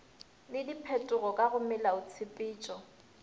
le diphetogo ka go melaotshepetšo